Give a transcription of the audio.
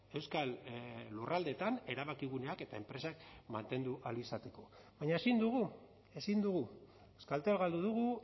euskal lurraldeetan erabakiguneak eta enpresak mantendu ahal izateko baina ezin dugu ezin dugu euskaltel galdu dugu